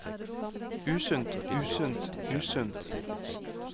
usunt usunt usunt